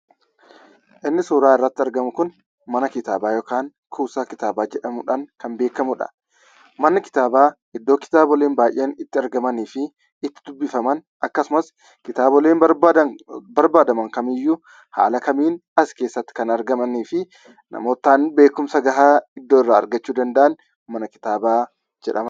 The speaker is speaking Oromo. Inni suuraa irratti argamu kun mana kitaabaa yookaan kuusaa kitaabaa jedhamuudhaan kan beekamudha. Manni kitaabaa iddoo kitaaboleen baay'een itti argamanii fi itti dubbifaman akkasumas kitaaboleen barbaadan barbaadaman kamiyyuu haala kamiin as keessatti kan argamaniifi namootaan beekumsa gahaa iddoo irraaa argachuu danda'an mana kitaabaa jedhama.